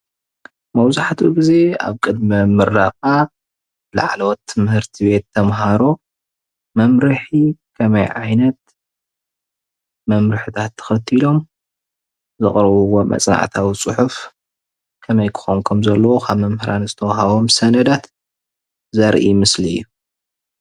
መብዛሕትኡ ግዜ ኣብ ቅድመ ምረቓ ላዕለዎት ትምህርቲ ቤት ተመሃሮ መምርሒ ከመይ ዓይነት መምርሕታት ተኸቲሎም ዘቕርብዎም መፅናዕታዊ ፅሑፍ ከመይ ክኾን ከምዘለዎ ካብ መምህራን ዝተዋህቦም ሰነዳት ዘርኢ ምስሊ እዩ፡፡